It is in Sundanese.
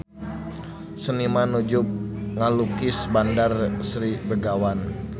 Seniman nuju ngalukis Bandar Sri Begawan